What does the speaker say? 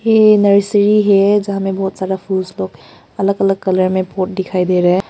ये नर्सरी है जहां में बहुत सारा फुल स्टॉक अलग अलग कलर में पॉट दिखाई दे रहे हैं।